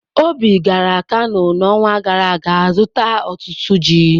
Obi gara Kano n'ọnwa gara aga zụta otutu ji.